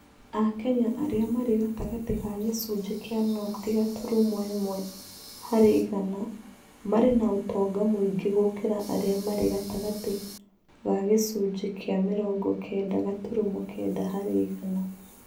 Akenya arĩa marĩ gatagatĩ ga gĩcunjĩ kĩa noti gaturumo ĩmwe harĩ igana marĩ na ũtonga mũingĩ gũkĩra arĩa marĩ gatagatĩ ga gĩcunjĩ kĩa gĩcunjĩ kĩa mĩrongo kenda gaturumo kenda harĩ igana.